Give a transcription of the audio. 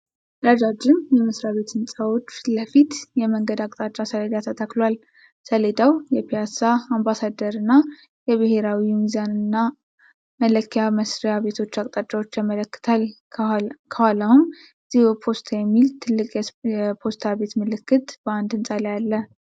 ረጃጅም የመስሪያ ቤት ሕንፃዎች ፊት ለፊት፣ የመንገድ አቅጣጫ ሰሌዳ ተተክሏል። ሰሌዳው የፒያሳ፣ አምባሳደርና የብሔራዊ ሚዛንና መለኪያ መስሪያ ቤቶችን አቅጣጫዎች ያመለክታል። ከኋላውም እትዮፖስታ የሚል ትልቅ የፖስታ ቤት ምልክት በአንድ ህንፃ ላይ አለ።